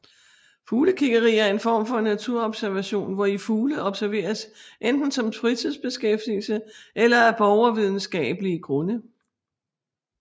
Fuglekiggeri er en form for naturobservation hvori fugle observeres enten som fritidsbeskæftigelse eller af borgervidenskabelige grunde